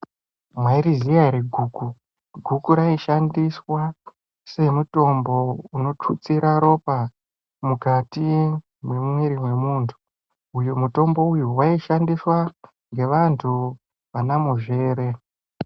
Mwairiziya ere guku, guku raishandiswa semutombo unotutsira ropa mukati mwemwiri wemuntu uyu mutombo uyu waishandiswa ngevantu vana muzvere.